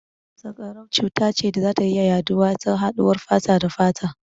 Sanƙarau cuta ce da za ta iya yaɗuwa ta haɗuwar fata da fata.